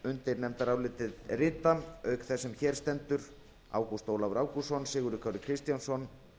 undir nefndarálitið rita auk þess sem hér stendur ágúst ólafur ágústsson sigurður kári kristjánsson